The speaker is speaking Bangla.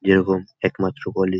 যেরকম একমাত্র কলেজ ।